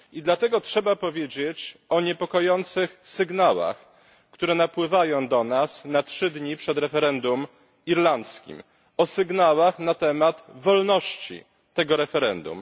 I dlatego trzeba powiedzieć o niepokojących sygnałach, które napływają do nas na trzy dni przed referendum irlandzkim o sygnałach na temat wolności tego referendum.